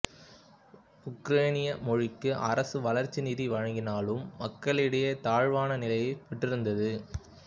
உக்ரைனிய மொழிக்கு அரசு வளர்ச்சி நிதி வழங்கினாலும் மக்களிடையே தாழ்வான நிலையைப் பெற்றிருந்தது